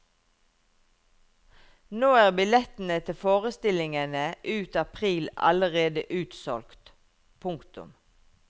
Nå er billettene til forestillingene ut april allerede utsolgt. punktum